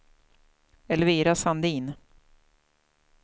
Elvira Sandin